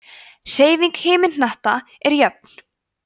hreyfing himinhnattanna er jöfn